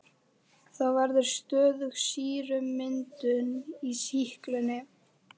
Þá verður stöðug sýrumyndun í sýklunni.